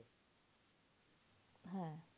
হ্যাঁ